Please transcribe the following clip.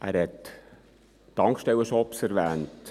Er hat die Tankstellen-Shops erwähnt.